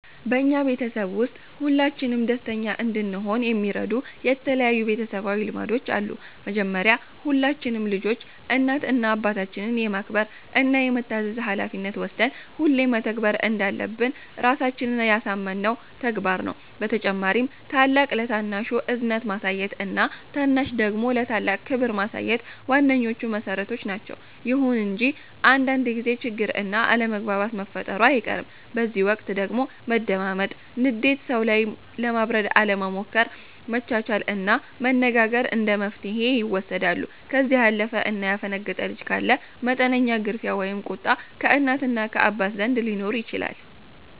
በኛ ቤተሰብ ውስጥ ሁላችንም ደስተኛ እንድሆን የሚረዱን የተለያዩ ቤተሰባዊ ልማዶች አሉ። መጀመሪያ ሁላችንም ልጆች እናት እና አባታችንን የማክበር እና የመታዘዝ ሀላፊነት ወስደን ሁሌ መተግበር እንዳለብን ራሳችንን ያሳመነው ተግባር ነው። በተጨማሪም ታላቅ ለታናሹ እዝነት ማሳየት እና ታናሽ ደግሞ ለታላቅ ክብር ማሳየት ዋነኞቹ መሠረቶች ናቸዉ። ይሁን እንጂ አንዳንድ ጊዜ ችግር እና አለመግባባት መፈጠሩ አይቀርም፤ በዚህ ወቅት ደግሞ መደማመጥ፣ ንዴት ሰዉ ላይ ለማብረድ አለመሞከር፣ መቻቻል እና መነጋገር እንደመፍትሔ ይወሰዳሉ። ከዚህ ያለፈ እና ያፈነገጠ ልጅ ካለ መጠነኛ ግርፊያ ወይም ቁጣ ከእናት እና ከአባት ዘንድ ሊኖር ይችላል።